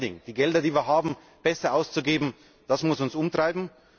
Better Spending die Gelder, die wir haben, besser auszugeben das muss uns umtreiben.